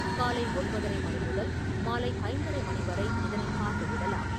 காலை ஒன்பதரை மணி முதல் மாலை ஐந்தரை மணி வரை இதனை பார்வையிடலாம்.